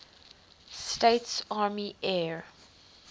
states army air